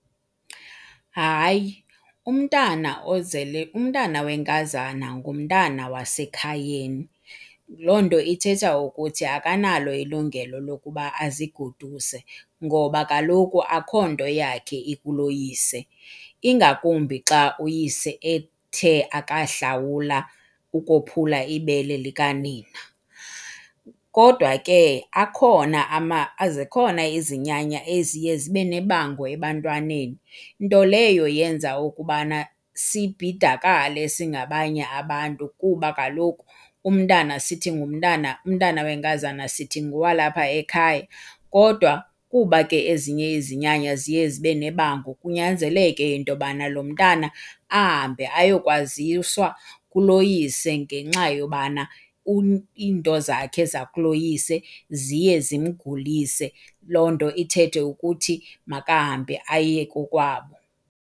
Hayi, umntana ozele, umntana wenkazana ngumntana wasekhayeni. Loo nto ithetha ukuthi akanalo ilungelo lokuba azigoduse ngoba kaloku akho nto yakhe ikuloyise, ingakumbi xa uyise ethe ukahlawula ukophula ibele likanina. Kodwa ke akhona , zikhona izinyanya eziye zibe nebango ebantwaneni, nto leyo yenza ukubana sibhidakale singabanye abantu kuba kaloku umntana sithi ngumntana, umntana wenkazana sithi ngowalapha ekhaya. Kodwa kuba ezinye izinyanya ziye zibe nebango kunyanzeleke into yobana lo mntana ahambe ayokwaziswa kuloyise ngenxa yobana iinto zakhe zakuloyise ziye zimgulise, loo nto ithethe ukuthi makahambe aye kokwabo.